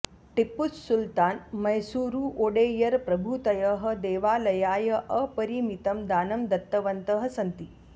टिप्पुसुल्तान् मैसूरुओडेयर प्रभृतयः देवालयाय अपरिमितं दानं दत्तवन्तः सन्ति